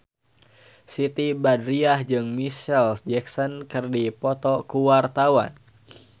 Siti Badriah jeung Micheal Jackson keur dipoto ku wartawan